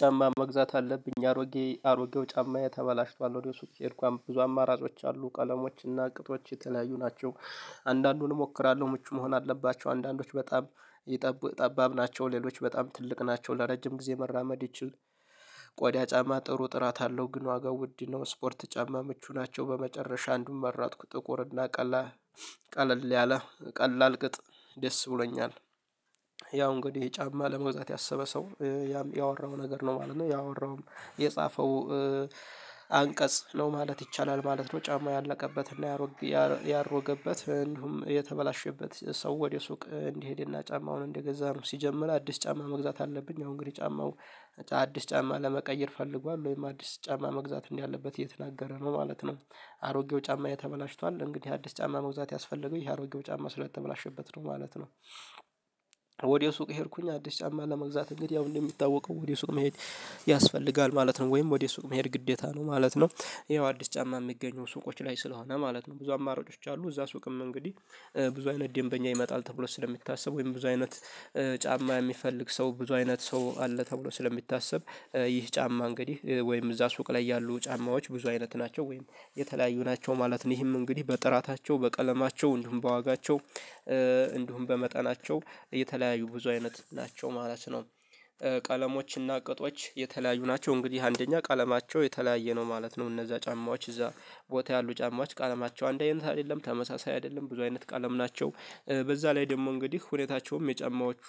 ጫማ መግዛት አለብኝ አሮጌ አሮጌው ጫማዬ ተበላሽቷል ወደ ሱቅ ሄድኩኝ ብዙ አማራጮች አሉ ቀለሞች እና ቅጦች የተለያዩ ናቸው። አንዳንዱን እሞክራለሁ ምቹ መሆን አለባቸው አንዳንዶች በጣም ጠባብ ናቸው ሌሎች በጣም ትልቅ ናቸው። ለረጅም ጊዜ መራመድ ይችል ቆዳ ጫማ ጥሩ ጥራት አለው። ግን ዋጋው ውድ ነው። ስፖርት ጫማ ምቹ ናቸው በመጨረሻ አንዱን መራጥኩ ጥቁር እና ቀላ ቀለል ያለ ቀላል ቅጥ ደስ ብሎኛል። ያው እንግዲህ ጫማ ለመግዛት ያሰበ ሰው ያወራው ነገር ነው ማለት ነው ያወራውም የጻፈው አንቀጽ ነው ማለት ይቻላል ማለት ነው። ጫማ ያለቀበትን ላይ ያሮገበት እንዲሁም የተበላሸበት ሰው ወደ ሱቅ እንዲሄድና ጫማውን እንደገዛም ሲጀምር አዲስ ጫማ መግዛት አለብኝ። አሁን እንግዲህ ጫማው አዲስ ጫማ ለመቀየር ፈልጓል ወይም አዲስ ጫማ መግዛት እንዲህ ያለበት እየተናገረ ነው ማለት ነው። አሮጌው ጫማ የተበላሽቷል እንግዲህ አዲስ ጫማ መግዛት ያስፈለጋል ይሄ አሮጌው ጫማ ስለተበላሸበት ነው ማለት ነው። ወዲያው ሱቅ ሄድኩኝ አዲስ ጫማ ለመግዛት እንግዲህ ያው እንደሚታወቀው ወደ ሱቅ መሄድ ያስፈልጋል ማለት ነው ወይም ወደ ሱቅ መሄድ ግዴታ ነው ማለት ነው። ይሄው አዲስ ጫማ የሚገኘው ሱቆች ላይ ስለሆነ ማለት ነው ብዙ አማራጮች አሉ። እዛ ሱቅም እንግዲህ ብዙ አይነት ደንበኛ ይመጣል ተብሎ ስለሚታሰብ ወይም ብዙ አይነት ጫማ የሚፈልግ ሰው ብዙ አይነት ሰው አለ ተብሎ ስለሚታሰብ ይህ ጫማ እንግዲህ ወይም እዛ ሱቅ ላይ ያሉ ጫማዎች ብዙ አይነት ናቸው ወይም የተለያዩ ናቸው ማለት ነው። ይህም እንግዲህ በጥራታቸው በቀለማቸው እንዲሁም በዋጋቸው እንዲሁም በመጠናቸው የተለያዩ ብዙ አይነት ናቸው ማለት ነው። ቀለሞችና ቅጦች የተለያዩ ናቸው እንግዲህ አንደኛ ቀለማቸው የተለያየ ነው ማለት ነው። እነዛ ጫማዎች እዛ ቦታ ያሉ ጫማዎች ቀለማቸው አንድ አይነት አይደለም ተመሳሳይ አይደለም ብዙ አይነት ቀለም ናቸው። በዛ ላይ ደግሞ እንግዲህ ሁኔታቸውም የጨማዎቹ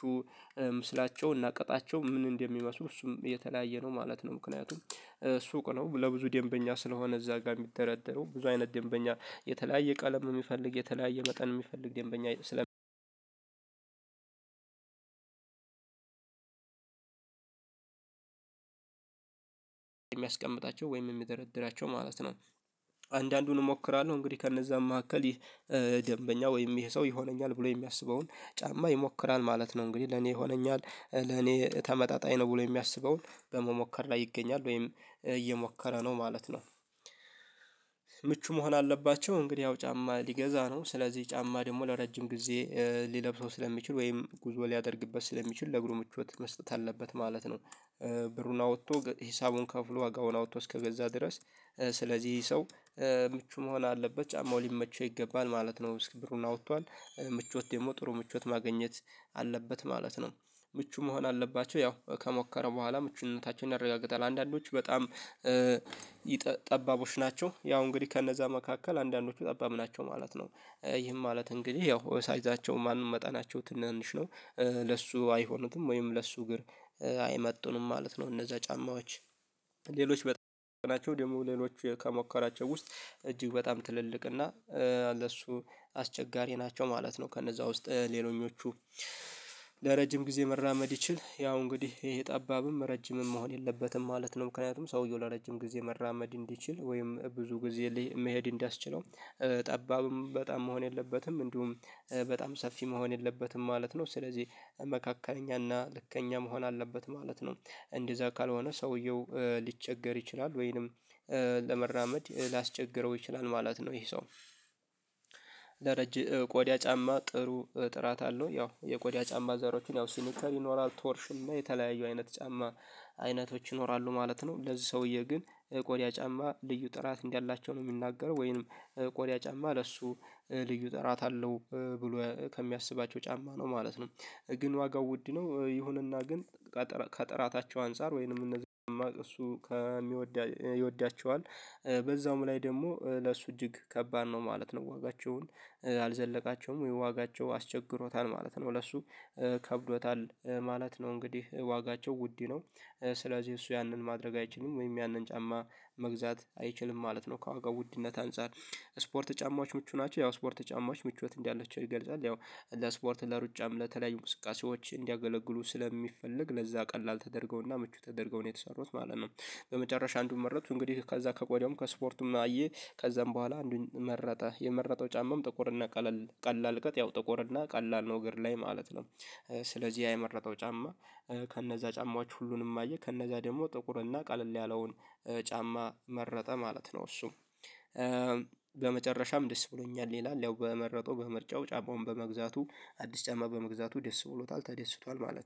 ስላቸው እናቀጣቸው ምን እንደሚመስሉ እሱም የተለያየ ነው ማለት ነው። ምክንያቱም ሱቅ ነው ለብዙ ደንበኛ ስለሆነ እዛ ጋር የሚደረደረው ብዙ አይነት ደንበኛ የተለያየ ቀለም የሚፈልግ የተለያየ መጠን የሚፈልግ ደንበኛ ስለ የሚያስቀምጣቸው ወይም የሚደረድራቸው ማለት ነው። አንዳንዱን እሞክራለሁ እንግዲህ ከነዛ መካከል ይህ ደንበኛ ወይም ይሄ ሰው ይሆነኛል ብሎ የሚያስበውን ጫማ ይሞክራል ማለት ነው እንግዲህ ለኔ ይሆነኛል ለኔ ተመጣጣኝ ነው ብሎ የሚያስበውን በመሞከር ላይ ይገኛል ወይም እየሞከረ ነው ማለት ነው። ምቹ መሆን አለባቸው እንግዲህ ያው ጫማ ሊገዛ ነው ስለዚህ ጫማ ደግሞ ለረጅም ጊዜ ሊለብሰው ስለሚችል ወይም ጉዞ ሊያደርግበት ስለሚችል ለእግሪ ምቾት መስጠት አለበት ማለት ነው። ብሩን አውጥቶ ሂሳቡን ከፍሎ ዋጋውን አውጥቶ እስከገዛ ድረስ ስለዚህ ሰው ምቹ መሆን አለበት ጫማው ሊመቸው ይገባል ማለት ነው ብሩን አውጥቷል ምቾት ደግሞ ጥሩ ምቾት ማግኘት አለበት ማለት ነው። ምቹ መሆን አለባቸው ያው ከሞከረ በኋላ ምቹነታቸውን ያረጋግጣል አንዳንዶች በጣም ጠባቦች ናቸው ያው እንግዲህ ከነዛ መካከል አንዳንዶቹ ጠባብ ናቸው ማለት ነው። ይህም ማለት እንግዲህ ያው ሳይዛቸው ማንም መጠናቸው ትንንሽ ነው ለሱ አይሆኑትም ወይም ለሱ እግር አይመጡንም ማለት ነው። እነዛ ጫማዎች ሌሎች በጣም ናቸው ደግሞ ሌሎች ከሞከራቸው ውስጥ እጅግ በጣም ትልልቅ እና ለሱ አስቸጋሪ ናቸው ማለት ነው። ከነዛ ውስጥ ሌሎኞቹ ለረጅም ጊዜ መራመድ ይችል ያው እንግዲህ ይሄ ጠባብም ረጅምም መሆን የለበትም ማለት ነው። ምክንያቱም ሰውየው ለረጅም ጊዜ መራመድ እንዲችል ወይም ብዙ ጊዜ መሄድ እንዲያስችለው ጠባብም በጣም መሆን የለበትም እንዲሁም በጣም ሰፊ መሆን የለበትም ማለት ነው። ስለዚህ መካከለኛና ልከኛ መሆን አለበት ማለት ነው እንደዛ ካልሆነ ሰውየው ሊቸገር ይችላል ወይንም ለመራመድ ሊያስቸግረው ይችላል ማለት ነው። ይሄ ሰው ረጅም ቆዳ ጫማ ጥሩ ጥራት አለው ያው የቆዳ ጫማ ዘሮችን ያው ሲኒከር ይኖራል ቶርሽን እና የተለያዩ አይነት ጫማ አይነቶች ይኖራሉ ማለት ነው። ለዚህ ሰውዬ ግን ቆዳ ጫማ ልዩ ጥራት እንዲህ አላቸው ነው የሚናገረው ወይንም ቆዳ ጫማ ለሱ ልዩ ጥራት አለው ብሎ ከሚያስባቸው ጫማ ነው ማለት ነው። ግን ዋጋው ውድ ነው ይሁንና ግን ከጥራታቸው አንፃር ወይንም እነዚህ እሱ የሚወድ ይወዳቸዋል በዛውም ላይ ደግሞ ለእሱ እጅግ ከባድ ነው ማለት ነው። ዋጋቸውን አልዘለቃቸውም የዋጋቸው አስቸግሮታል ማለት ነው ለሱ ከብዶታል ማለት ነው። እንግዲህ ዋጋቸው ውድ ነው ስለዚህ እሱ ያንን ማድረግ አይችሉም ወይም ያንን ጫማ መግዛት አይችልም ማለት ነው። ከዋጋው ውድነት አንፃር ስፖርት ጫማዎች ምቹ ናቸው ያው ስፖርት ጫማዎች ምቾት እንዳለችው ይገልጻል ያው እንደ ስፖርት ለሩጫም ለተለያዩ እንቅስቃሴዎች እንዲያገለግሉ ስለሚፈልግ ለዛ ቀላል ተደርገውና ምቹ ተደርገው ነው የተሰሩት ማለት ነው። በመጨረሻ አንዱን መረጥኩ እንግዲህ ከዛ ከቆዳውም ከስፖርቱም አየ ከዛም በኋላ አንዱን መረጠ የመረጠው ጫማም ጥቁር እና ቀለል ቀላል ቀጥ ያው ጥቁር እና ቀላል ነው እግር ላይ ማለት ነው። ስለዚህ ያ የመረጠው ጫማ ከነዛ ጫማዎች ሁሉንም አየ ከእነዛ ደግሞ ጥቁርና ቀለል ያለውን ጫማ መረጠ ማለት ነው። እሱ በመጨረሻም ደስ ብሎኛል ይላል ያው በመረጠው በምርጫው ጫጫውን በመግዛቱ አዲስ ጫማ በመግዛቱ ደስ ብሎታል ተደስቷል ማለት ነው